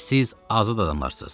Siz azad adamlarsız.